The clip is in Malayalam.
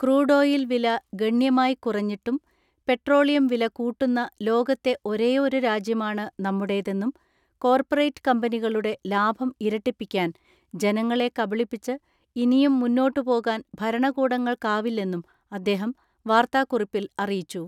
ക്രൂഡോയിൽ വില ഗണ്യമായി കുറഞ്ഞിട്ടും പെട്രോളിയം വില കൂട്ടുന്ന ലോകത്തെ ഒരേയൊരു രാജ്യമാണ് നമ്മുടേതെന്നും കോർപ്പറേറ്റ് കമ്പനികളുടെ ലാഭം ഇരട്ടിപ്പിക്കാൻ ജനങ്ങളെ കബളിപ്പിച്ച് ഇനിയും മുന്നോട്ടു പോകാൻ ഭരണകൂടങ്ങൾക്കാവില്ലെന്നും അദ്ദേഹം വാർത്താ ക്കുറിപ്പിൽ അറിയിച്ചു.